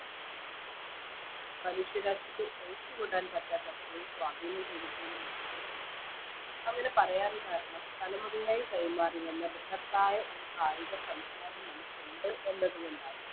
മനുഷ്യരാശിക്ക് ഒഴിച്ച് കൂടാൻ പറ്റാത്തത്രയും സ്വാധീനം ചെലത്തിയൊരു മേഖലയണത് അങ്ങനെ പറയാൻ കാരണം തലമുറയായി കൈമാറി വന്ന ഭ്രഹത്തായ ഒരു കായിക സംസ്കാരം നമുക്കുണ്ട് എന്നത് കൊണ്ടാണ്